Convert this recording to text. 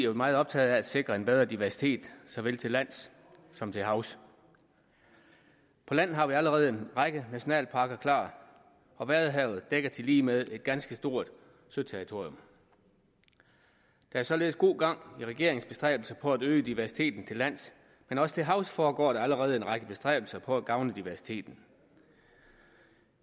meget optaget af at sikre en bedre diversitet såvel til lands som til havs på land har vi allerede en række nationalparker klar og vadehavet dækker tilligemed et ganske stort søterritorium der er således god gang i regeringens bestræbelser på at øge diversiteten til lands men også til havs foregår der allerede en række bestræbelser på at gavne diversiteten